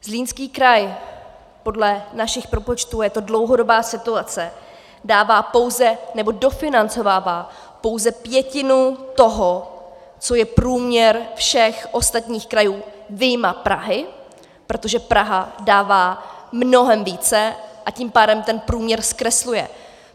Zlínský kraj podle našich propočtů - je to dlouhodobá situace - dává pouze, nebo dofinancovává pouze pětinu toho, co je průměr všech ostatních krajů vyjma Prahy, protože Praha dává mnohem více, a tím pádem ten průměr zkresluje.